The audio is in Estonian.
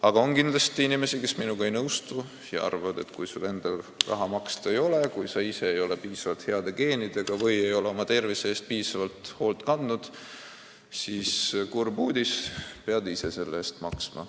Aga on kindlasti inimesi, kes minuga ei nõustu ja arvavad, et kui sul endal raha maksta ei ole, kui sul ei ole head geenid või sa ei ole oma tervise eest piisavalt hoolt kandnud, siis kurb uudis: pead ise selle eest maksma.